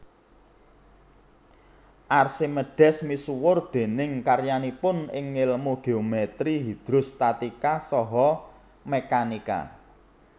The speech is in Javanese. Archimedes misuwur déning karyanipun ing ngèlmu geometri hidrostatika saha mekanika